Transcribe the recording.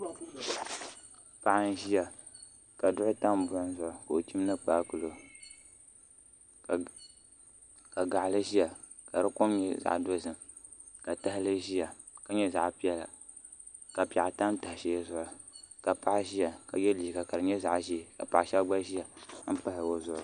Paɣa n ʒiya ka duɣu tam buɣum zuɣu ka o chimdi kpaakpulo ka gaɣali ʒiya ka di kom nyɛ zaɣ dozim ka tahali ʒiya ka nyɛ zaɣ piɛlli ka piɛɣu tam taha shɛli zuɣu ka paɣa ʒiya ka yɛ liiga ka di nyɛ zaɣ ʒiɛ ka paɣa shab gba ʒiya n pahi o zuɣu